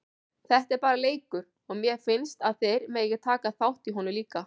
Þetta er bara leikur og mér finnst að þeir megi taka þátt í honum líka.